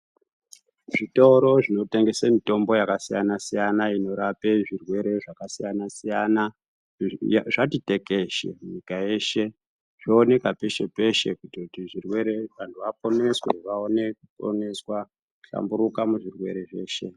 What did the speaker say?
Zvitoro zvinotengese mitombo yakasiyana siyana inorape zvirwere zvakasiyana siyana Izvi zvati tekeshe nyika yeshe zvoonekwa peshe peshe kutoti zvirwere vantu vaponeswe vaone kuponeswa hlamburuka muzvirwere zveshe.